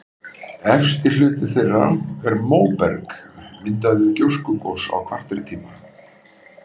Efsti hluti þeirra er móberg, myndað við gjóskugos á kvartertíma.